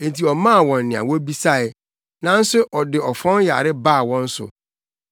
enti ɔmaa wɔn nea wobisae, nanso ɔde ɔfɔn yare baa wɔn so.